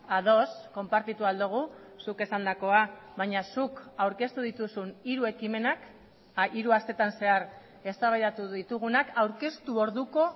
ados konpartitu ahal dugu zuk esandakoa baina zuk aurkeztu dituzun hiru ekimenak hiru astetan zehar eztabaidatu ditugunak aurkeztu orduko